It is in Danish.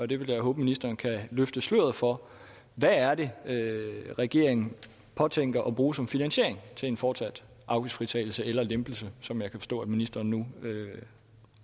det vil jeg håbe ministeren kan løfte sløret for hvad er det regeringen påtænker at bruge som finansiering til en fortsat afgiftsfritagelse eller lempelse som jeg kan forstå at ministeren nu